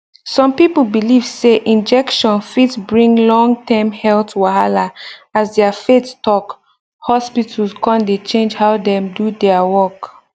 some people believe say injection fit bring longterm health wahala as their faith talk hospitals come dey change how dem do their work